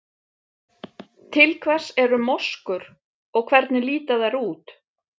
Til hvers eru moskur og hvernig líta þær út?